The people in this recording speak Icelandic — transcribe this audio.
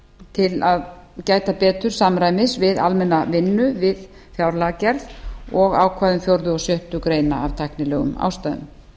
til að gæta betur samræmis við almenna vinnu við fjárlagagerð og ákvæðum fjórða og sjöttu greinar af tæknilegum ástæðum